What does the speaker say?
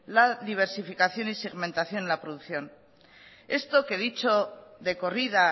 la diversificación y segmentación en la producción esto que dicho de corrida